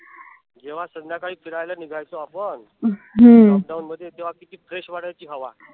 जेव्हा संध्याकाळी फिरायला निघायचो आपण lockdown मध्ये तेव्हा किती fresh वाटायची हवा.